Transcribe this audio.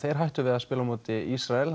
hætti við að spila á móti Ísrael